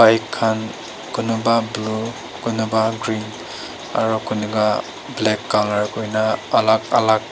bek khan kunuba blue kunuba green aro kunuba black color kurina alak alak--